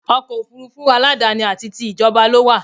Ọkọ̀ òfurufú aládáni àti ti ìjọba ló wà